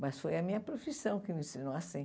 Mas foi a minha profissão que me ensinou assim.